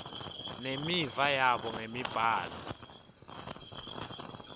nemiva yabo ngemibhalo